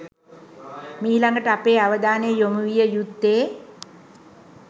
මීළඟට අපේ අවධානය යොමු විය යුත්තේ